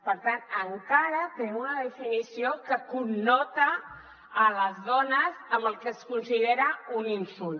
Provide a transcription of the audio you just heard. per tant encara tenim una definició que connota les dones amb el que es considera un insult